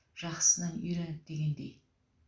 жақсысынан үйреніп дегендей